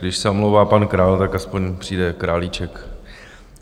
Když se omlouvá pan Král, tak aspoň přijde Králíček.